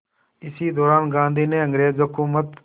इसी दौरान गांधी ने अंग्रेज़ हुकूमत